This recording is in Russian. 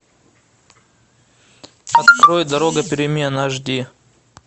открой дорога перемен аш ди